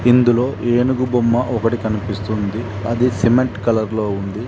ఇందులో ఏనుగు బొమ్మ ఒకటి కనిపిస్తుంది అది సిమెంట్ కలర్ లో ఉంది.